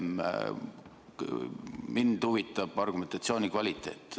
Mind huvitab argumentatsiooni kvaliteet.